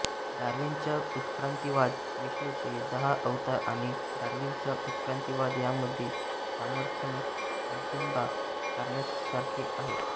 डार्विनचा उत्क्रांतिवाद विष्णूचे दहा अवतार आणि डार्विनचा उत्क्रांतिवाद यांमधले साधर्म्य अचंबा करण्यासारखे आहे